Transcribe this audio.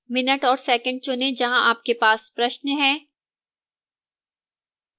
minute और second चुनें जहां आपके पास प्रश्न है